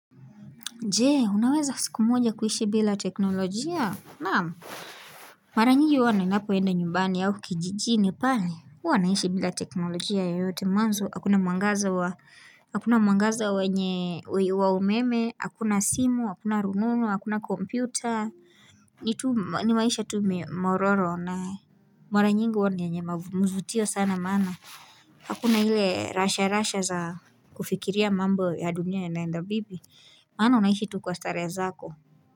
Je unaweza siku moja kuishi bila teknolojia naamu Mara nyigi hua ninapoenda nyumbani au kijijini kwani hua naishi bila teknolojia yoyote mwanzo hakuna mwangaza wa umeme hakuna simu hakuna rumomo hakuna kompyuta ni tu maisha mololo na Mara nyingi hua yenye kuvutia sana maana Hakuna ile rasha rasha za kufikiria mambo ya dunia yanaenda vipi maana, unaishi tu kwa starehe zako.